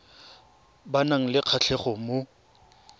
ba nang le kgatlhego mo